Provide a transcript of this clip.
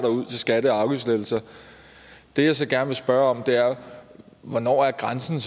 ud til skatte og afgiftslettelser det jeg så gerne vil spørge er hvornår er grænsen